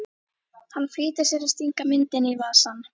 Hann flýtir sér að stinga myndinni í vasann.